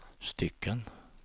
stycken